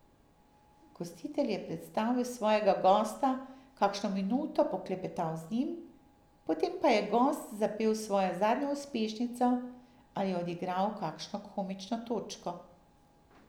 Gostitelj je predstavil svojega gosta, kakšno minuto poklepetal z njim, potem pa je gost zapel svojo zadnjo uspešnico ali odigral kakšno komično točko.